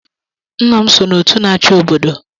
Nna m so n’otu na-achị obodo